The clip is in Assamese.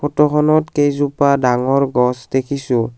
ফটোখনত কেইজোপা ডাঙৰ গছ দেখিছোঁ।